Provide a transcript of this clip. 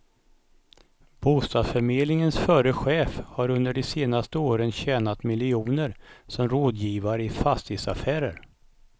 Bostadsförmedlingens förre chef har under de senaste åren tjänat miljoner som rådgivare i fastighetsaffärer.